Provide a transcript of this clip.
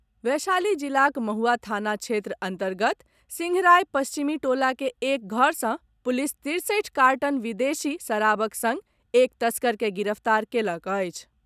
वैशाली जिलाक महुआ थाना क्षेत्र अन्तर्गत सिंहराय पश्चिमी टोला के एक घर सँ पुलिस तिरसठि कार्टन विदेशी शराबक संग एक तस्कर के गिरफ्तार कयलक अछि।